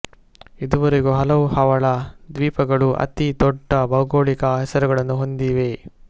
ಇದುವರೆಗೂ ಹಲವು ಹವಳ ದ್ವೀಪಗಳು ಅತಿ ದೊಡ್ದ ಭೌಗೋಳಿಕ ಹೆಸರುಗಳನ್ನು ಹೊಂದಿವೆ